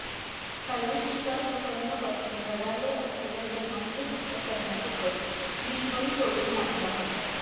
काळवीट शिकार प्रकरणापासून रडारवर असलेल्या सलमानची हत्या करण्याचा कट बिश्नोई टोळीने आखला होता